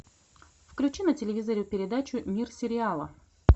включи на телевизоре передачу мир сериала